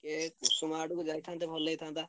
ଉଷୁମ ଆଡକୁ ଯାଇଥାନ୍ତେ ଭଲ ହେଇଥାନ୍ତା।